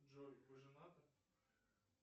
джой вы женаты